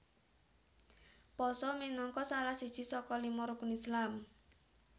Pasa minangka salah siji saka lima Rukun Islam